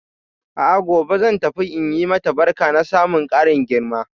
A'a gobe zan tafi in yi mata barka na samun karin girma.